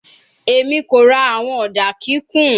Emi ko ra awọn oda kikun